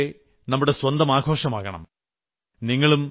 ദീപാവലിയെപ്പോലെ നമ്മുടെ സ്വന്തം ആഘോഷമാകണം